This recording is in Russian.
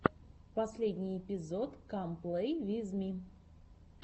последний эпизод кам плей виз ми